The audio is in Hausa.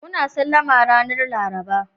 Muna Sallama ranan Laraba.